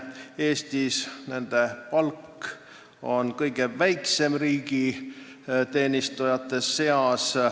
Eestis on nende palk väiksem kui kõigil teistel riigiteenistujatel.